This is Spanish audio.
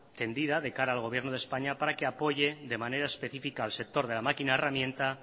tendida de cara al gobierno de españa para que apoye de manera específica al sector de la máquina herramienta